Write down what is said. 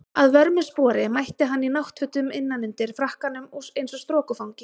Að vörmu spori mætti hann í náttfötum innan undir frakkanum eins og strokufangi.